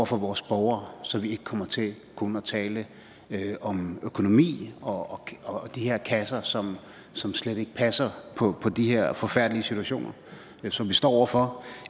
for vores borgere så vi ikke kommer til kun at tale om økonomi og og de her kasser som som slet ikke passer på de her forfærdelige situationer som vi står over for